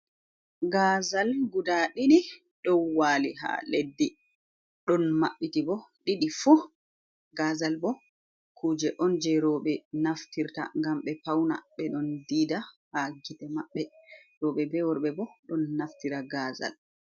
Gazal guda didi don wali ha leddi ɗon mabbiti ɓo didi fu gazal bo kuje on je roɓe naftirta ngam ɓe pauna ɓe don dida ha gite maɓɓe roɓe be worɓe ɓo don naftira gazal.